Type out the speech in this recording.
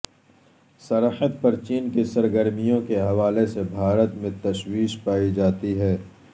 سرحد پر چین کی سرگرمیوں کے حوالے سے بھارت میں تشویش پائی جاتی ہے